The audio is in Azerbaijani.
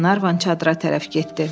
deyə Qlenarvan çadıra tərəf getdi.